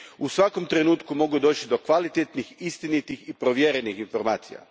u svakom trenutku mogu doći do kvalitetnih, istinitih i provjerenih informacija.